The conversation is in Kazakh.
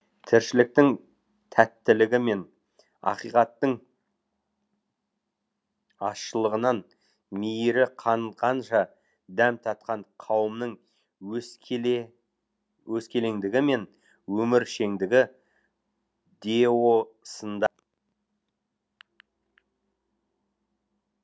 тіршіліктің тәттілігі мен ақиқаттың ащылығынан мейірі қанғанша дәм татқан қауымның өскеле өскелеңдігі мен өміршеңдігі деосында